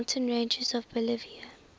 mountain ranges of bolivia